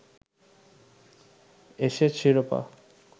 Ashes শিরোপা